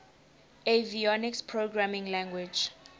avionics programming language